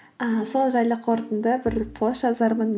ыыы сол жайлы қорытынды бір пост жазармын